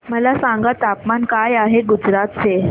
मला सांगा तापमान काय आहे गुजरात चे